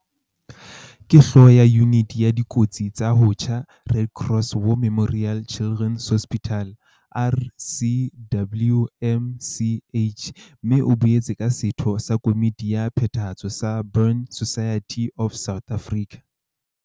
Ke Hlooho ya Yuniti ya Dikotsi tsa ho tjha Red Cross War Memorial Children's Hospital, RCWMCH, mme o boetse ke setho sa komiti ya phethahatso sa Burn Society of South Africa.